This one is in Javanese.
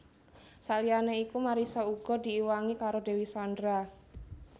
Saliyané iku Marissa uga diiwangi karo Dewi Sandra